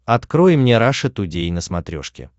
открой мне раша тудей на смотрешке